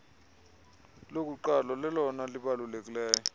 lokuqalo nelona libalulekileyo